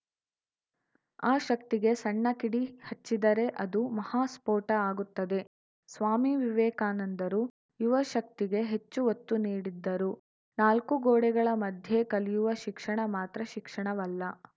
ಆ ಶಕ್ತಿಗೆ ಸಣ್ಣ ಕಿಡಿ ಹಚ್ಚಿದರೆ ಅದು ಮಹಾಸ್ಫೋಟ ಆಗುತ್ತದೆ ಸ್ವಾಮಿ ವಿವೇಕಾನಂದರು ಯುವಶಕ್ತಿಗೆ ಹೆಚ್ಚು ಒತ್ತು ನೀಡಿದ್ದರು ನಾಲ್ಕು ಗೋಡೆಗಳ ಮಧ್ಯೆ ಕಲಿಯುವ ಶಿಕ್ಷಣ ಮಾತ್ರ ಶಿಕ್ಷಣವಲ್ಲ